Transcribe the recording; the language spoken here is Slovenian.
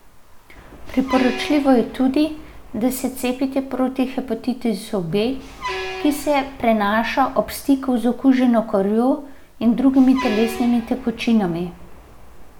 Priporočljivo je tudi, da se cepite proti hepatitisu B, ki se prenaša ob stiku z okuženo krvjo in drugimi telesnimi tekočinami.